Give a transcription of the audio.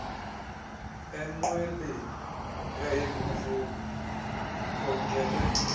enqweleni eyayingumrhubhe ikhokele